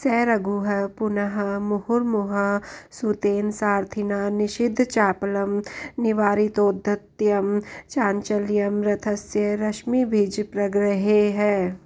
स रघुः पुनः मुहुर्मुहुः सूतेन सारथिना निषिद्धचापलं निवारितौद्धत्यं चाञ्चल्यं रथस्य रश्मिभिझ प्रग्रहैः